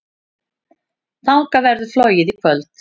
Þangað verður flogið í kvöld.